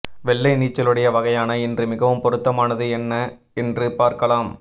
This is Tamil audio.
வெள்ளை நீச்சலுடை வகையான இன்று மிகவும் பொருத்தமானது என்ன என்று பார்க்கலாம்